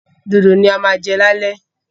Dòdò ni a máa jẹ ní alẹ́